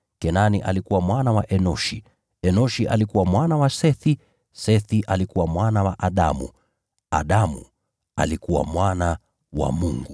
Kenani alikuwa mwana wa Enoshi, Enoshi alikuwa mwana wa Sethi, Sethi alikuwa mwana wa Adamu, Adamu alikuwa mwana wa Mungu.